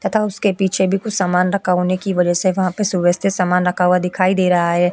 तथा उसके पीछे भी कुछ सामान रखा होने की वजह से वहां पर सुव्यवस्थित सामान रखा हुआ दिखाई दे रहा है।